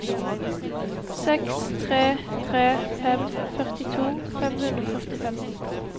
seks tre tre fem førtito fem hundre og førtifem